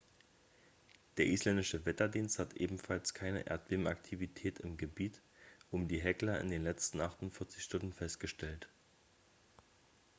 der isländische wetterdienst hat ebenfalls keine erdbebenaktivität im gebiet um die hekla in den letzten 48 stunden festgestellt